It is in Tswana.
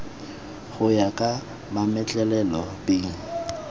go ya ka mametlelelo b